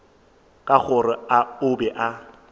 ka gore o be a